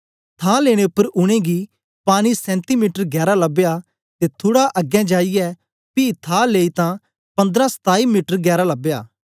थां लेने उपर उनेंगी पानी सेंती मीटर गैरा लबया ते थुड़ा अगें जाईयै पी थाह लेई तां पंद्राह सताई मीटर गैरा लबया